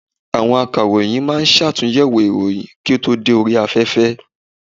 Àwọn Akàròyìn ma ń ṣàtúnyẹ̀wò ìròyìn kí ó tó dé orí afẹ́fẹ́.